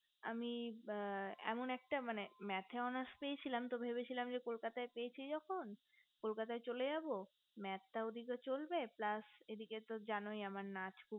আমি একটা এমন একটা মানে math এর honours পেয়েছিলাম আমি তো ভেবেছিলাম যে কলকাতায় পেয়েছি যখন কলকাতায় চলে যাবো math তাও ঐদিকে চলবে plush আর এইদিকে তো জানোই আমার নাচ